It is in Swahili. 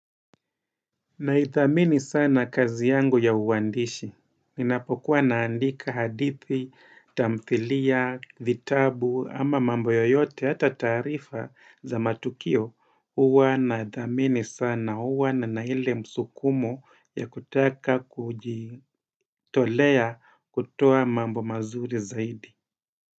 Naitha amini sana kazi yangu ya uwandishi. Nina pokuwa na andika hadithi, tamthilia, vittabu, ama mambo yoyote, ata taarifa za matukio, uwa na dhamini sana uwa na naile msukumo ya kutaka kujitolea kutoa mambo mazuri zaidi.